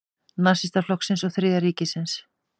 Nasistaflokksins og Þriðja ríkisins.